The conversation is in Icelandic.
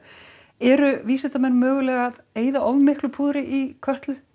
eru vísindamenn mögulega að eyða of miklu púðri í Kötlu